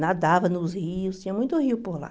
Nadava nos rios, tinha muito rio por lá.